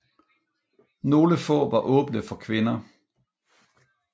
Nogle få var åbne for kvinder